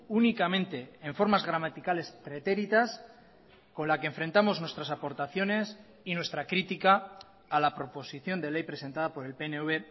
únicamente en formas gramaticales pretéritas con la que enfrentamos nuestras aportaciones y nuestra crítica a la proposición de ley presentada por el pnv